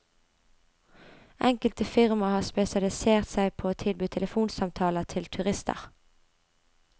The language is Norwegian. Enkelte firma har spesialisert seg på å tilby telefonsamtaler til turister.